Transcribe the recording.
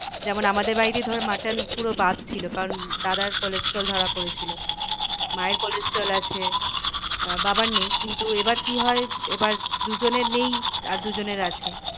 যেমন আমাদের বাড়িতেই ধর mutton পুরো বাদ ছিল কারণ দাদার cholesterol ধরা পড়েছিল। মায়ের cholesterol আছে আহ বাবার নেই কিন্তু এবার কি হয় এবার দুজনের নেই আর দুজনের আছে।